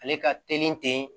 Ale ka teli ten